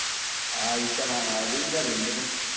ആയിഷ അതെനിക്കറിയാ ഇൻ്റെപ്പം